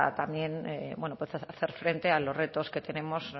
también bueno pues hacer frente a los retos que tenemos